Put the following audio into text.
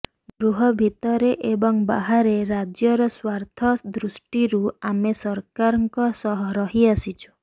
ଗୃହ ଭିତରେ ଏବଂ ବାହାରେ ରାଜ୍ୟର ସ୍ବାର୍ଥ ଦୃଷ୍ଟିରୁ ଆମେ ସରକାରଙ୍କ ସହ ରହିଆସିଛୁ